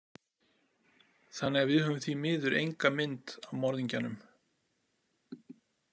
Þannig að við höfum því miður enga mynd af morðingjanum.